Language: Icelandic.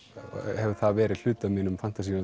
hefur það verið hluti af mínum fantasíum